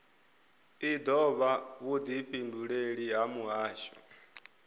i dovha vhudifhinduleleli ha muhasho